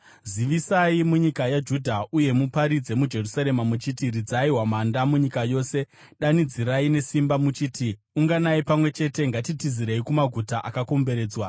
“Zivisai munyika yaJudha uye muparidze muJerusarema muchiti: ‘Ridzai hwamanda munyika yose!’ Danidzirai nesimba muchiti: ‘Unganai pamwe chete! Ngatitizirei kumaguta akakomberedzwa!’